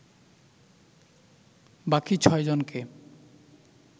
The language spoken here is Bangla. বাকি ছয়জনকে